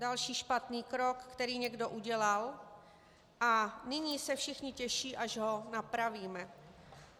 Další špatný krok, který někdo udělal, a nyní se všichni těší, až ho napravíme.